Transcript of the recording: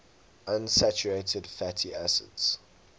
unsaturated fatty acids